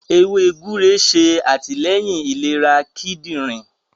ewé gbúre ṣe atilẹyin ìlera kidinrin